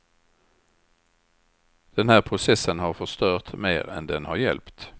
Den här processen har förstört mer än den har hjälpt.